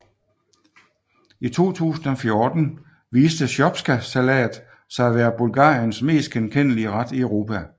I 2014 viste shopskasalat sig at være Bulgariens mest genkendelige ret i Europa